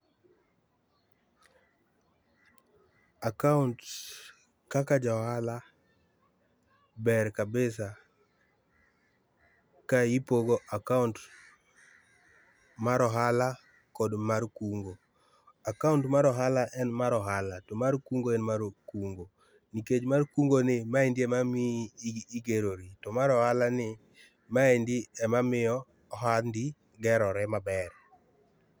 Account kaka ja ohala ber kabisa ka ipogo account mar ohala kod mar kungo. Account mar ohala en mar ohala to mar kungo en mar kungo nikech mar kungo ni maendi ema miyo igerori to mar ohala ni ema miyo ohandi gerore maber